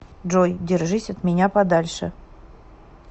джой держись от меня подальше